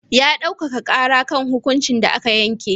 Ya ɗaukaka ƙara kan hukuncin da aka yanke.